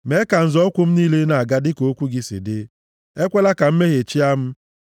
Mee ka nzọ ụkwụ m niile na-aga dịka okwu gị si dị; ekwela ka mmehie chịa m.